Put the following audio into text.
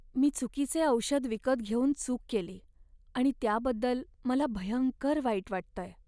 मी चुकीचे औषध विकत घेऊन चूक केली आणि त्याबद्दल मला भयंकर वाईट वाटतंय.